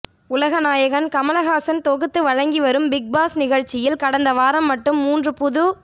உலக நாயகன் கமலஹாசன் தொகுத்து வழங்கி வரும் பிக் பாஸ் நிகழ்ச்சியில் கடந்த வாரம் மட்டும் மூன்று புது